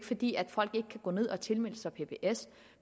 fordi folk ikke kan gå ned og tilmelde sig pbs